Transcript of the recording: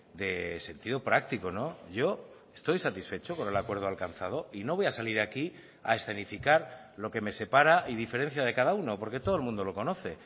de sentido práctico yo estoy satisfecho con el acuerdo alcanzado y no voy a salir aquí a escenificar lo que me separa y diferencia de cada uno porque todo el mundo lo conoce